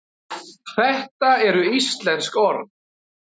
þetta eru íslensk orð